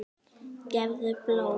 Gefðu blóð.